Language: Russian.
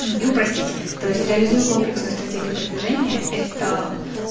и упростить то есть реализую комплексная стратегия продвижения это